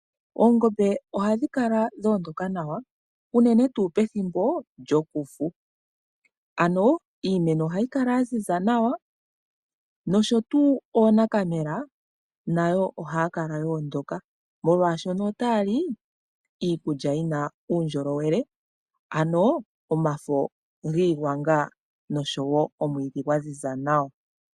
Oongombe ohadhi kala dha ondoka nawa unene tuu pethimbo lyokufu. Iimeno ohayi kala ya ziza nawa, nosho tuu oonakamela nayo ohaya kala ya ondoka, molwaashono otaya li iikulya yi na uundjolowele ano omafo giigwanga osho wo omwiidhi gwa ziza nawa.